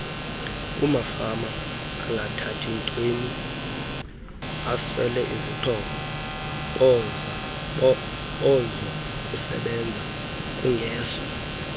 kumafamaangathathi ntweninasweleizixhobozokusebenza kungeso